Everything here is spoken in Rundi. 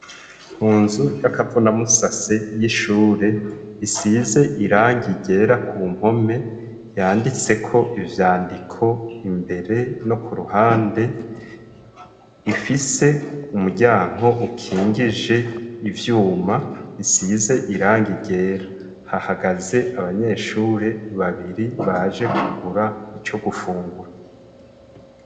Munzu y'akavuna musase y'ishure isize irangi ryera ku mpome, yanditse ko ivyandiko imbere no ku ruhande, ifise umuryango ukingije ivyuma isize irangi ryera. Hahagaze abanyeshure babiri baje kugura ico gufungura.